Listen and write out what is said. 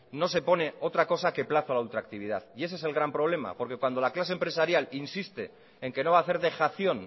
no se pone otra cosa que plazo a la ultractividad y ese es el gran problema porque cuando la clase empresarial insiste en que no va a hacer dejación